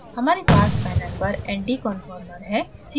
हमारे पास panel पर anti conformer है